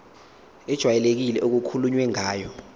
ejwayelekile okukhulunywe ngayo